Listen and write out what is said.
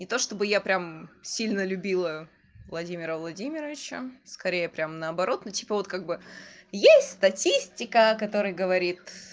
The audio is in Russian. это чтобы я прям сильно любила владимира владимировича скорее прямо наоборот на типа вот как бы есть статистика который говорит